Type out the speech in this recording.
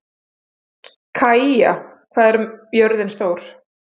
Kaía, hvað er jörðin stór?